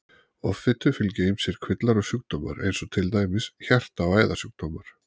Offitu fylgja ýmsir kvillar og sjúkdómar eins og til dæmis hjarta- og æðasjúkdómar.